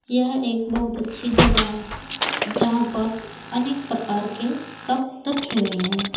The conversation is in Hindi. यह एक बहुत अच्छी जगह है यहां पर अनेक प्रकार के कप रखे हुए हैं।